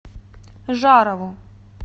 жарову